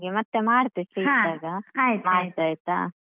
ಹೌದು ನಾನ್ ನಿಂಗೆ ಮತ್ತೆ ಮಾಡ್ತೆ free ಇದ್ದಾಗ ಮಾಡ್ತೆ ಆಯ್ತಾ.